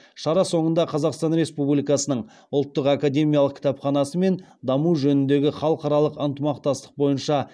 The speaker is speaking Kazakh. шара соңында қазақстан республикасының ұлттық академиялық кітапханасы мен даму жөніндегі халықаралық ынтымақтастық бойынша